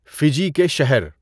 Fiji کے شہر